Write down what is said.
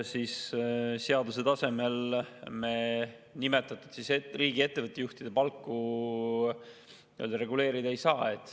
Seaduse tasemel me nimetatud riigiettevõtete juhtide palku reguleerida ei saa.